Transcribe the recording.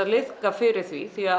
liðka fyrir því því